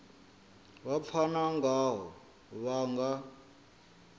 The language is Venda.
vha pfana ngaho vha nga